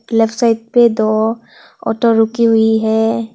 Left side पे दो auto रुकी हुई है।